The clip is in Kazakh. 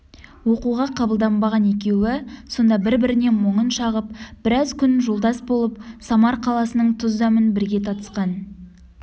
оқуға қабылданбаған екеуі сонда бір-біріне мұңын шағып біраз күн жолдас болып самар қаласының тұз-дәмін бірге татысқан